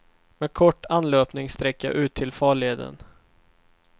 Med kort anlöpningssträcka ut till farleden.